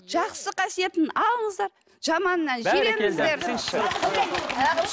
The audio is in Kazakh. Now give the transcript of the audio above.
жақсы қасиетін алыңыздар жаманынан жиреніңіздер